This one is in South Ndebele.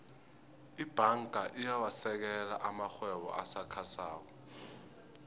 ibhanga iyawasekela amarhwebo asakhasako